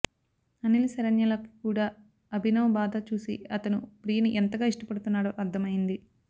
అనిల్ శరణ్యలకి కూడా అభినవ్ బాధ చూసి అతను ప్రియని ఎంతగా ఇష్టపడుతున్నాడో అర్థమయింది